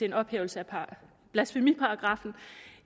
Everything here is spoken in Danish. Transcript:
en ophævelse af blasfemiparagraffen